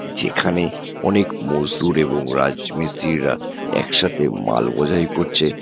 যেখানে অনেক মোজদুর এবং রাজ মিস্ত্রিরা এক সাথে মাল বোঝাই করছে।